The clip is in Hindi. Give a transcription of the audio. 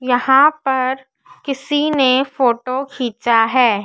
यहां पर किसी ने फोटो खींचा है।